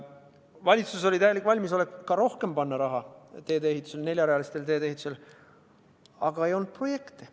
Valitsus oli täiesti valmis panema rohkemgi raha teede ehitusse, neljarealiste teede ehitusse, aga ei olnud projekte.